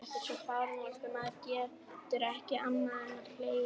Þetta er svo fáránlegt að maður getur ekki annað en hlegið.